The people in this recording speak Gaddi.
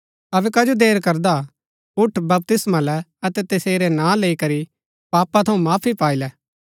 अबै कजो देर करदा उठ बपतिस्मा लै अतै तसेरा नां लैई करी पापा थऊँ माफी पाई लै